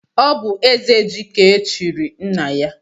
Ọ bú ezeji ka echiri nna ya.